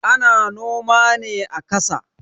Ana noma ne a kasa